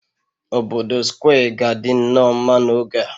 Obodo Square ga-adị nnọọ mma n'oge a